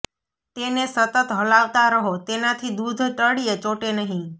તેને સતત હલાવતા રહો તેનાથી દૂધ તળિયે ચોંટે નહિ